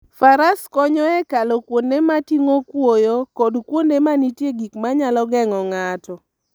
Faras konyo e kalo kuonde moting'o kuoyo kod kuonde ma nitie gik ma nyalo geng'o ng'ato.